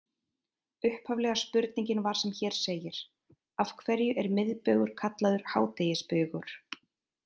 Upphaflega spurningin var sem hér segir: Af hverju er miðbaugur kallaður hádegisbaugur?